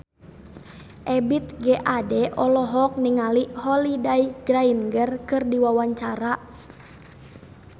Ebith G. Ade olohok ningali Holliday Grainger keur diwawancara